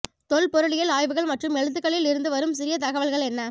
தொல்பொருளியல் ஆய்வுகள் மற்றும் எழுத்துக்களில் இருந்து வரும் சிறிய தகவல்கள் என்ன